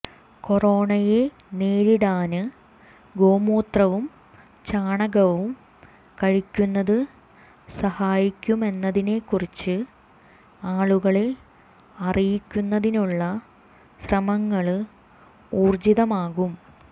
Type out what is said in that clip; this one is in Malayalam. കൊറോണയെ നേരിടാന് ഗോമൂത്രവും ചാണകവും കഴിക്കുന്നത് സഹായിക്കുമെന്നതിനേക്കുറിച്ച് ആളുകളെ അറിയിക്കുന്നതിനുള്ള ശ്രമങ്ങള് ഊര്ജിതമാക്കും